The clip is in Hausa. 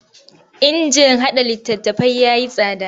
Injin haɗa littattafai ya yi tsada.